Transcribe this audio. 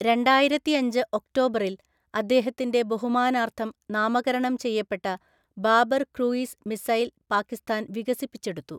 രണ്ടായിരത്തിഅഞ്ച് ഒക്ടോബറിൽ, അദ്ദേഹത്തിൻ്റെ ബഹുമാനാർത്ഥം നാമകരണം ചെയ്യപ്പെട്ട ബാബർ ക്രൂയിസ് മിസൈൽ പാകിസ്ഥാൻ വികസിപ്പിച്ചെടുത്തു.